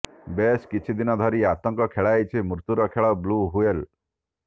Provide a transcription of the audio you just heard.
ବେଶ କିଛି ଦିନ ଧରି ଆତଙ୍କ ଖେଳାଇଛି ମୃତ୍ୟୁର ଖେଳ ବ୍ଲ୍ୟୁ ହ୍ୱେଲ